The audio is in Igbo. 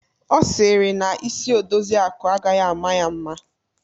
Ọ sịrị na isi Odoziakụ agaghị ama ya mma.